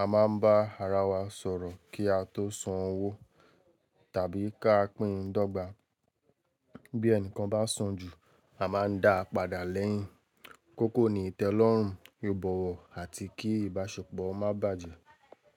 A máa ń bá ara wa sọ̀rọ̀ kí a tó san owó tàbí ká pín dọ́gba. Bí ẹnìkan bá san jù, a máa ń dáa padà lẹ́yìn. Kókó ni ìtẹ́lọ́rùn, ìbọ̀wọ̀ àti kí ìbáṣepọ̀ má bàjẹ́